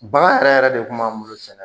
Bagan yɛrɛ yɛrɛ de kun b'an bolo sɛnɛ